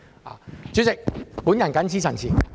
代理主席，我謹此陳辭。